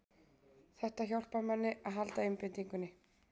Þetta hjálpar manni að halda einbeitingunni